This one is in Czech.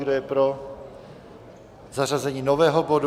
Kdo je pro zařazení nového bodu?